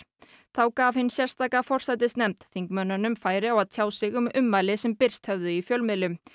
þá gaf hin sérstaka forsætisnefnd þingmönnunum færi á að tjá sig um ummæli sem birst höfðu í fjölmiðlum